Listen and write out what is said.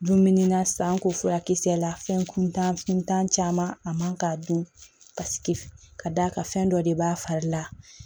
Dumuni na san ko furakisɛ la fɛn kuntan kuntan caman a man k'a dun ka sigi f ka d'a ka fɛn dɔ de b'a fari la